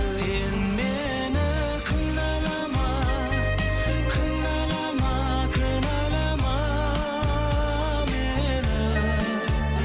сен мені кінәлама кінәлама кінәлама мені